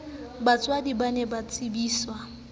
batswadi ba ne ba tsebiswe